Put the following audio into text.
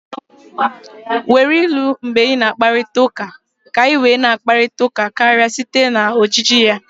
Use proverbs during your conversation, so that you will be more conversant with it.